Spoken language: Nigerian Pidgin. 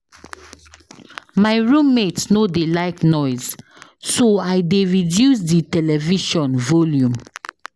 My room mate no dey like noise so I dey reduce di television volume.